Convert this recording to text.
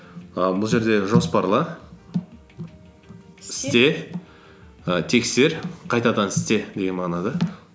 ііі бұл жерже жоспарла і тексер қайтадан істе деген мағына да